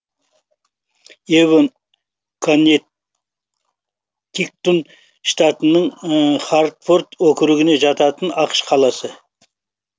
эвон коннектиктун штатына хартфорд округіне жататын ақш қаласы